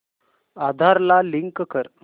आधार ला लिंक कर